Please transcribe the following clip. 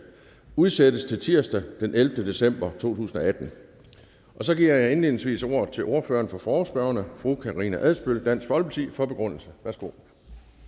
udsættes til tirsdag den ellevte december to tusind og atten så giver jeg indledningsvis ordet til ordføreren for forespørgerne fru karina adsbøl dansk folkeparti for begrundelse værsgo